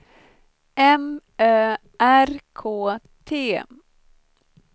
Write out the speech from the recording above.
M Ö R K T